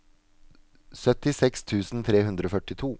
syttiseks tusen tre hundre og førtito